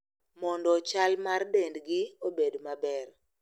Mondo chal mar dendgi obed maber.